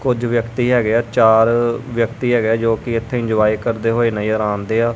ਕੁਝ ਵਿਅਕਤੀ ਹੈਗੇਆ ਚਾਰ ਵਿਅਕਤੀ ਹੈਗੇਆ ਜੋਕਿ ਇੱਥੇ ਇੰਜੋਏ ਕਰਦੇ ਹੋਏ ਨਜ਼ਰ ਆਂਨ ਦੇ ਆ।